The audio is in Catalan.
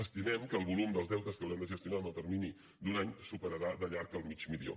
estimem que el volum dels deutes que haurem de gestionar en el termini d’un any superarà de llarg el mig milió